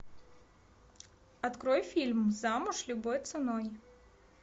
открой фильм замуж любой ценой